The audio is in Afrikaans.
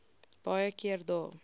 baie keer dae